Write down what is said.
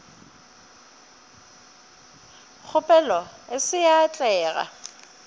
kgopelo e se ya atlega